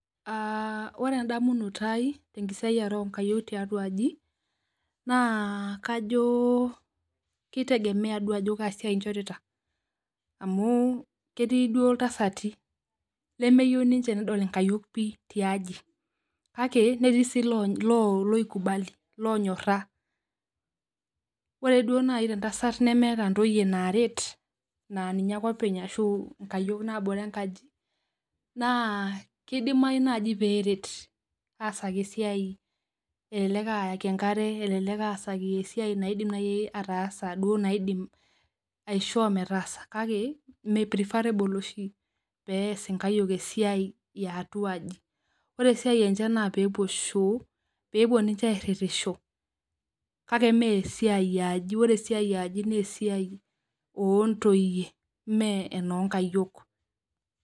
Ah ore endamunoto ai tenkisiare oo nkayiok tiatua aji naa kajo kitengemee duo ajo kaa siai ichorita amu ketii duo iltasati lemeyieu duo ninche nedol inkayiok pi tiaji kake netii sii loonyoraa ore naaji te ntasat nemeeta ntoyie tiaji naaret naa ninye ake openy ashu nkayiok nabore enkaji naa kidimayu naaji pee eret asaki esiai elelek ayaki enkare elelek asaaki esiai naidim naaji duo aataasa naidim aishoo meetaasa kake mee preferable oshi peas inkayiok esiai ee atua aji ore esiai enche naa peepuo shoo peepuo ninche airitisho kake mee esiai ee aji ore esiai ee aji naa esiai oo ntoyie mee enoo nkayiok.